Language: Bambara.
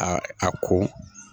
A a ko